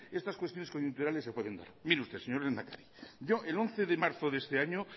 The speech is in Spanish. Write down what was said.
estas cuestiones coyunturales se pueden dar mire usted señor lehendakari yo el once de marzo de este año